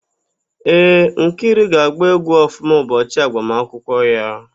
Ee, Nkiru ga-agba égwú ọfụma ụbọchị agbamakwụkwọ ya.